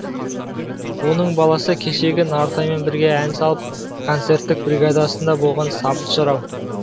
оның баласы кешегі нартаймен бірге ән салып концерттік бригадасында болған сабыт жырау